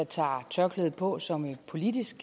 tager tørklædet på som et politisk